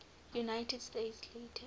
united states later